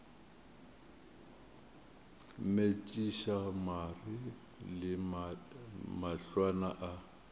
metšiša mare le mahlwana a